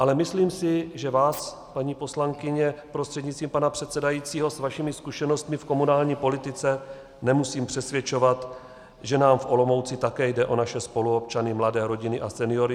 Ale myslím si, že vás, paní poslankyně prostřednictvím pana předsedajícího, s vašimi zkušenostmi v komunální politice nemusím přesvědčovat, že nám v Olomouci také jde o naše spoluobčany, mladé rodiny a seniory.